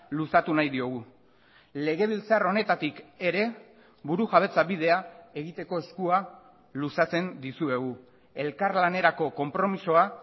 luzatu nahi diogu legebiltzar honetatik ere burujabetza bidea egiteko eskua luzatzen dizuegu elkarlanerako konpromisoa